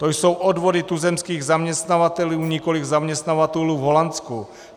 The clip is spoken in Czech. To jsou odvody tuzemských zaměstnavatelů, nikoliv zaměstnavatelů v Holandsku.